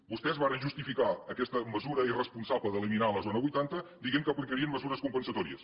vostès varen justificar aquesta mesura irresponsable d’eliminar la zona vuitanta dient que aplicarien mesures compensatòries